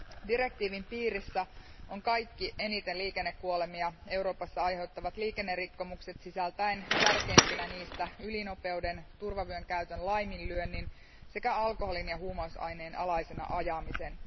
Direktiivin piirissä ovat kaikki eniten liikennekuolemia Euroopassa aiheuttavat liikennerikkomukset, sisältäen tärkeimpinä niistä ylinopeuden, turvayön käytön laiminlyönnin sekä alkoholin tai huumausaineen alaisena ajamisen.